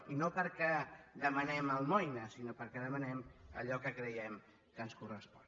i no perquè demanem almoina sinó perquè demanem allò que creiem que ens correspon